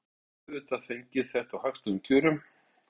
Og þú hefur auðvitað fengið þetta á hagstæðum kjörum?